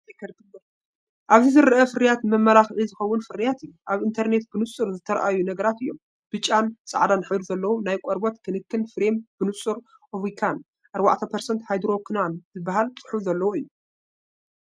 ኣብዚ ዝርአ ፍርያት ንመመላኽዒ ዝኸውን ፍርያት እዩ። ኣብ ኢንተርነት ብንጹር ዝተራእዩ ነገራት እዮም። ብጫን ጻዕዳን ሕብሪ ዘለዎ ናይ ቆርበት ክንክን ክሬም፡ ብንጹር ኣቮኪን 4% ሃይድሮኲኖን ዝብል ጽሑፍ ዘለዎ እዮም።